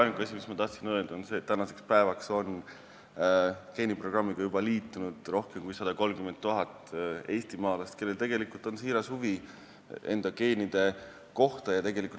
Ainuke asi, mis ma tahtsin öelda, on see, et tänaseks päevaks on geeniprogrammiga liitunud juba rohkem kui 130 000 eestimaalast, kellel on siiras huvi enda geenide vastu.